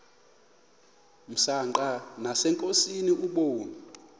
msanqa nasenkosini ubume